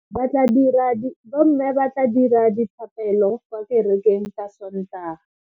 Bomme ba tla dira dithapelo kwa kerekeng ka Sontaga.